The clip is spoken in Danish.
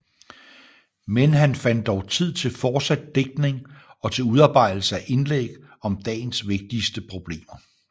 Men han fandt dog tid til fortsat digtning og til udarbejdelse af indlæg om dagens vigtigste problemer